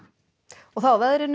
og þá að veðri